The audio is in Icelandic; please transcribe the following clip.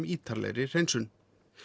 ítarlegri hreinsun